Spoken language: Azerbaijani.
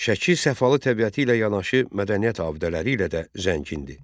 Şəki səfalı təbiəti ilə yanaşı mədəniyyət abidələri ilə də zəngindir.